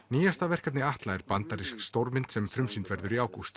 nýjasta verkefni Atla er bandarísk stórmynd sem frumsýnd verður í ágúst